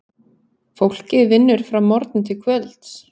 Fólkið vinnur frá morgni til kvölds.